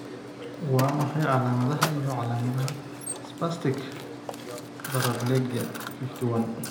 Waa maxay calaamadaha iyo calaamadaha spastic paraplegia 51?